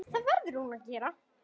Það verður hún að gera.